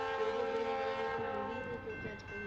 ਤੇ ਉਹ ਬਿਨਾਂ ਦਵਾਈਆਂ ਤੋਂ ਹੁੰਦੀ ਹੀ ਨੀ ਕਿਉਂਕਿ ਅੱਜ ਕੱਲ੍ਹ